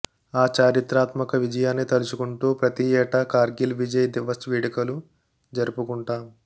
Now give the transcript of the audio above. ఆ చారిత్రాత్మక విజయాన్ని తలుచుకుంటూ ప్రతి ఏటా కార్గిల్ విజయ్ దివస్ వేడుకలు జరుపుకుంటాం